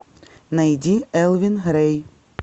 найди элвин грей